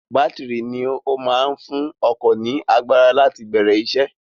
Bátìrì ni ó máa ń fún ọkọ̀ ní agbára láti bẹ̀rẹ̀ isẹ́.